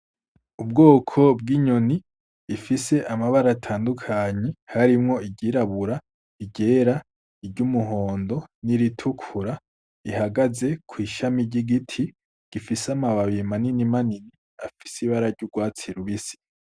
Ubwoko bw'inyoni ifise amabara atandukanye harimwo iryirabura, iryera, iry'umuhondo niritukura, ihagaze kw'ishami ry'igiti gifise amababi manini manini afise ibara ry'urwatsi rubisi.